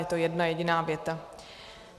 Je to jedna jediná věta.